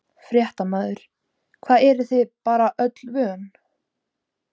Fréttamaður: Hvað, eruð þið bara öllu vön?